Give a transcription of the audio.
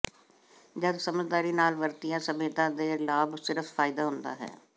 ਜਦ ਸਮਝਦਾਰੀ ਨਾਲ ਵਰਤਿਆ ਸਭਿਅਤਾ ਦੇ ਲਾਭ ਸਿਰਫ ਫ਼ਾਇਦਾ ਹੁੰਦਾ ਹੈ